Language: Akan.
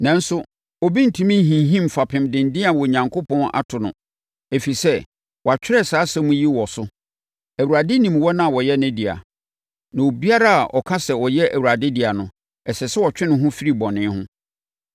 Nanso, obi rentumi nhinhim fapem denden a Onyankopɔn ato no, ɛfiri sɛ, wɔatwerɛ saa nsɛm yi wɔ so: “Awurade nim wɔn a wɔyɛ ne deɛ,” na “Obiara a ɔka sɛ ɔyɛ Awurade dea no, ɛsɛ sɛ ɔtwe ne ho firi bɔne ho.”